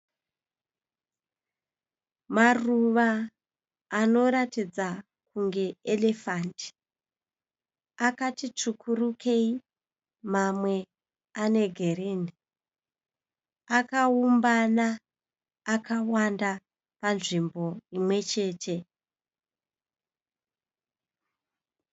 Maruva anoratidza kunge erefandi akati tsvukurukei mamwe ane girini akaumbana akawanda panzvimbo imwechete.